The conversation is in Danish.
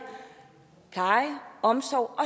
omsorg